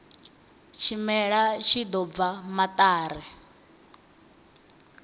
tshimela tshi ḓo bva maṱari